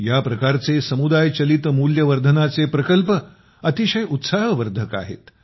या प्रकारचे समुदाय चालित मूल्यवर्धनाचे प्रकल्प अतिशय उत्साहवर्धक आहेत